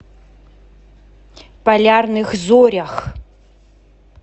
полярных зорях